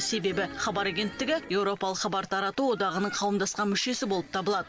себебі хабар агенттігі еуропалық хабар тарату одағының қауымдасқан мүшесі болып табылады